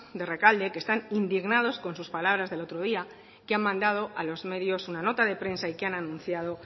de rekalde que están indignados con sus palabras del otro día que han mandado a los medios una nota de prensa y que han anunciado